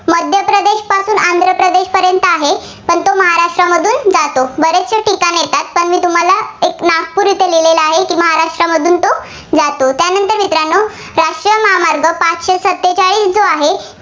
कुठंपर्यंत आहे, तो महाराष्ट्रामधून जातो. बरेचसे ठिकाणं येतात. तर मी तुम्हाला एक नागपूर इथं लिहिलेलं आहे. की महाराष्ट्रामधून जातो. त्यानंतर मित्रांनो राष्ट्रीय महामार्ग पाचशे सत्तेचाळीस जो आहे.